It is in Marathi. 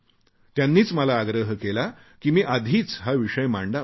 त्यांनीच मला आग्रह केला की मी आधीच हा विषय मांडावा